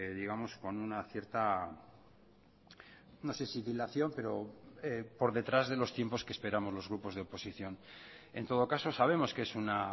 digamos con una cierta no se si dilación pero por detrás de los tiempos que esperamos los grupos de oposición en todo caso sabemos que es una